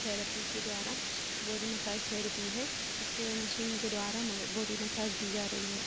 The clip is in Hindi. थेरेपी के द्वारा बॉडी मसाज थेरेपी है। इसके अ मशीन के द्वारा बॉडी मसाज दी जा रही है।